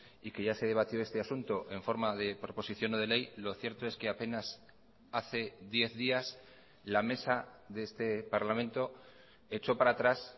y que ya se debatió este asunto en forma de proposición no de ley lo cierto es que a penas hace diez días la mesa de este parlamento echó para atrás